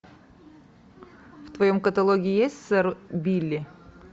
в твоем каталоге есть сэр билли